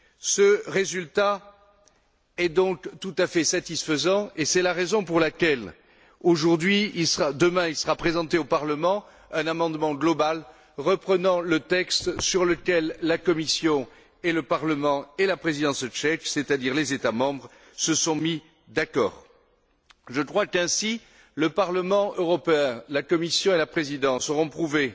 Ce résultat est donc tout à fait satisfaisant, et c'est la raison pour laquelle sera présenté demain au Parlement un amendement global reprenant le texte sur lequel la Commission, le Parlement et la présidence tchèque c'est à dire les États membres se sont mis d'accord. Je crois qu'ainsi, le Parlement européen, la Commission et la présidence auront prouvé